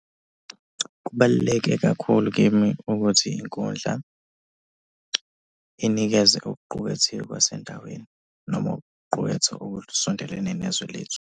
Kubaluleke kakhulu kimi ukuthi inkundla inikeze okuqukethiwe kwasendaweni noma ukuqukethwa okusondelene nezwe lethu.